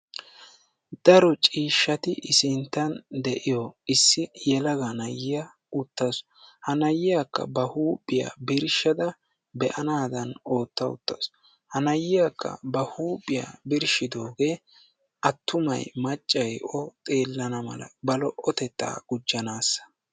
Daro ciishshati i sinttan de'iyo issi yelaga na'iya uttaasu. Ha na"iyakka ba huuphiya birshshada be'anaadan ootta uttaasu. Ha na'iyakka ba huuphiya birshshidoogee attuma maccayi o xeellana mala ba lo'otettaa gujjanaassa.